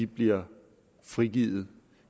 bliver frigivet